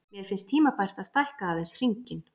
Mér finnst tímabært að stækka aðeins hringinn.